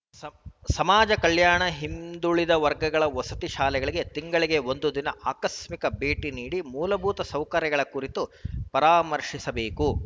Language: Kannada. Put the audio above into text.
ಸಮ್ ಸಮಾಜ ಕಲ್ಯಾಣ ಹಿಂದುಳಿದ ವರ್ಗಗಳ ವಸತಿ ಶಾಲೆಗಳಿಗೆ ತಿಂಗಳಿಗೆ ಒಂದು ದಿನ ಆಕಸ್ಮಿಕ ಭೇಟಿ ನೀಡಿ ಮೂಲಭೂತ ಸೌಕರ್ಯಗಳ ಕುರಿತು ಪರಾಮರ್ಶಿಸಬೇಕು